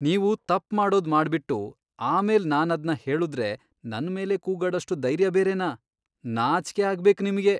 ನೀವು ತಪ್ಪ್ ಮಾಡೋದ್ ಮಾಡ್ಬಿಟ್ಟು ಆಮೇಲ್ ನಾನದ್ನ ಹೇಳುದ್ರೆ ನನ್ಮೇಲೇ ಕೂಗಾಡೋಷ್ಟು ಧೈರ್ಯ ಬೇರೆನಾ?! ನಾಚ್ಕೆ ಆಗ್ಬೇಕ್ ನಿಮ್ಗೆ.